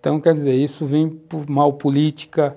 Então, quer dizer, isso vem por mal política,